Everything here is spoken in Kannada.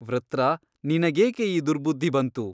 ವೃತ್ರ ನಿನಗೇಕೆ ಈ ದುರ್ಬುದ್ಧಿ ಬಂತು?